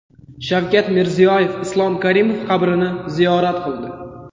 Shavkat Mirziyoyev Islom Karimov qabrini ziyorat qildi.